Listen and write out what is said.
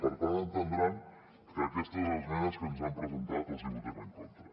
per tant entendran que aquestes esmenes que ens han presentat els hi votem en contra